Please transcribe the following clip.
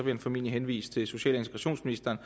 han formentlig henvise til social og integrationsministeren